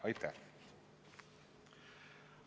Aitäh!